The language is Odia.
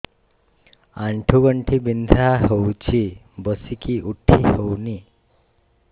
ଆଣ୍ଠୁ ଗଣ୍ଠି ବିନ୍ଧା ହଉଚି ବସିକି ଉଠି ହଉନି